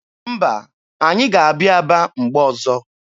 Mba, anyị ga-abịa Aba mgbe ọzọ.